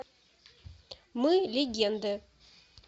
мы легенды